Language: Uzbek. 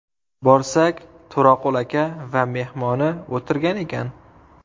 Borsak, To‘raqul aka va mehmoni o‘tirgan ekan.